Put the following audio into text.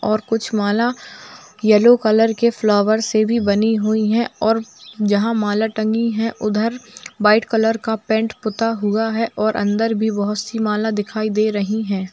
और कुछ माला येलो कलर के फ्लावर से भी बनी हुई हैं जहाँ माला टंगी हैं उधर वाइट कलर का पेंट से पुता हुआ हैं और अंदर भी बहुत सी माला दिखाई दे रही हैं।